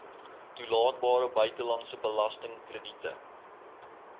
toelaatbare buitelandse belastingkrediete